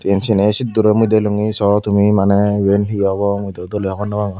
eyan siyeney setur mui delunge so tumi maney eyan he obo mui do dolay hobor no pagor.